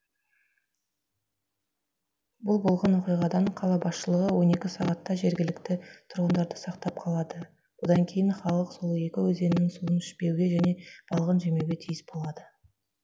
бұл болған оқиғадан қала басшылығы он екі сағатта жергілікті тұрғындарды сақтап қалады бұдан кейін халық сол екі өзеннің суын ішпеуге және балығын жемеуге тиіс болады